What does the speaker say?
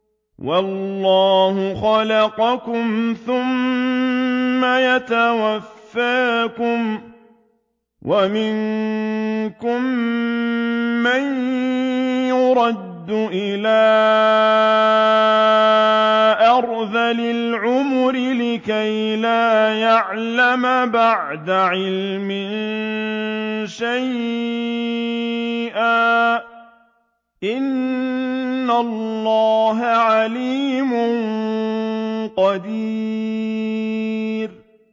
وَاللَّهُ خَلَقَكُمْ ثُمَّ يَتَوَفَّاكُمْ ۚ وَمِنكُم مَّن يُرَدُّ إِلَىٰ أَرْذَلِ الْعُمُرِ لِكَيْ لَا يَعْلَمَ بَعْدَ عِلْمٍ شَيْئًا ۚ إِنَّ اللَّهَ عَلِيمٌ قَدِيرٌ